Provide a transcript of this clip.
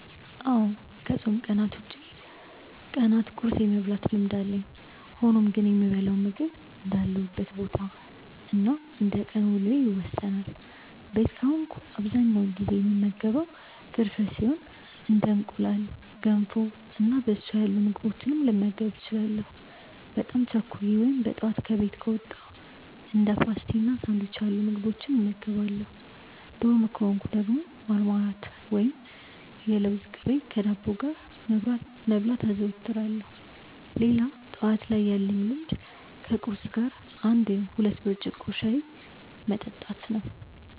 አዎ ከፆም ቀናት ውጪ ቀናት ቁርስ የመብላት ልምድ አለኝ። ሆኖም ግን የምበላው ምግብ እንዳለሁበት ቦታ እና እንደቀን ውሎዬ ይወሰናል። ቤት ከሆንኩ በአብዛኛው ጊዜ የምመገበው ፍርፍር ሲሆን እንደ እንቁላል፣ ገንፎ እና በሶ ያሉ ምግቦችንም ልመገብ እችላለሁ። በጣም ቸኩዬ ወይም በጠዋት ከቤት ከወጣው እንደ ፓስቲ እና ሳንዱች ያሉ ምግቦችን እበላለሁ። ዶርም ከሆንኩ ደግሞ ማርማላት ወይም የለውዝ ቅቤ ከዳቦ ጋር መብላት አዘወትራለሁ። ሌላ ጠዋት ላይ ያለኝ ልምድ ከቁርስ ጋር አንድ ወይም ሁለት ብርጭቆ ሻይ መጠጣት ነው።